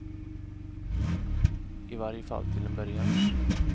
I varje fall till en början.